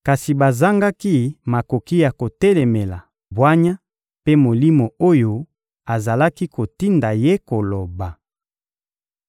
Kasi bazangaki makoki ya kotelemela bwanya mpe Molimo oyo azalaki kotinda ye koloba.